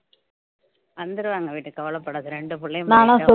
வந்துருவாங்க விடு கவலைப்படாத இரண்டு பிள்ளையும்